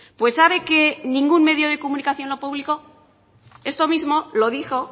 pues sabe que ningún medio de comunicación lo publicó esto mismo lo dijo